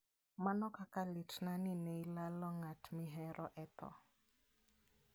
Mano kaka litna ni ne ilalo ng'at mihero e tho.